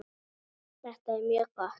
Þetta er mjög gott.